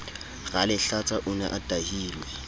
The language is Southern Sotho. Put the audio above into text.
ralehlatsa o ne a tahilwe